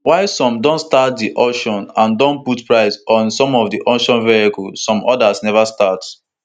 while some don start di auction and don put price on some of di auctioned vehicles some odas neva start